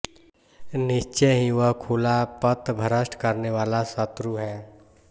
निश्चय ही वह खुला पथभ्रष्ट करनेवाला शत्रु है